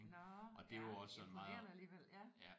Nåh ja imponerende alligevel ja